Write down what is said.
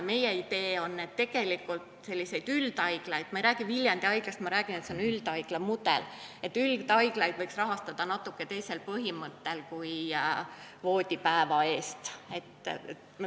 Meie idee on, et selliseid üldhaiglaid – ma ei räägi Viljandi Haiglast, vaid üldhaigla mudelist – võiks rahastada natuke teisel põhimõttel kui voodipäeva eest.